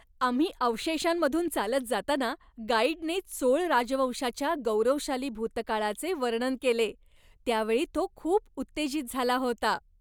आम्ही अवशेषांमधून चालत जाताना गाईडने चोळ राजवंशाच्या गौरवशाली भूतकाळाचे वर्णन केले त्यावेळी तो खूप उत्तेजित झाला होता.